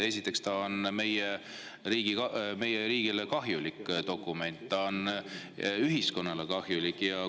Esiteks, see on meie riigile kahjulik, see on ühiskonnale kahjulik dokument.